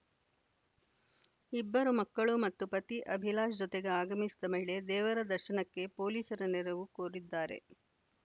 ಇಬ್ಬರು ಮಕ್ಕಳು ಮತ್ತು ಪತಿ ಅಭಿಲಾಷ್‌ ಜೊತೆಗೆ ಆಗಮಿಸಿ ಮಹಿಳೆ ದೇವರ ದರ್ಶನಕ್ಕೆ ಪೊಲೀಸರ ನೆರವು ಕೋರಿದ್ದಾರೆ